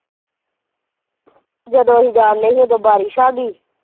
ਜਦੋਂ ਅਸੀਂ ਜਾਂਦੇ ਸੀ ਉਦੋ ਬਾਰਿਸ਼ ਆ ਗਈ।